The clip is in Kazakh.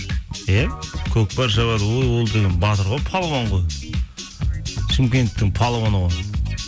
иә көкпар шабады өй ол деген батыр ғой палуан ғой шымкенттік палуаны ғой